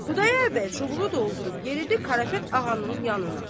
Xudayar bəy çubuğu doldurub yeridi Karapet ağanın yanına.